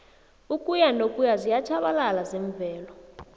ukuyanokuya ziyatjhabalala zemvelo